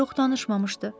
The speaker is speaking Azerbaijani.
Yox, danışmamışdı.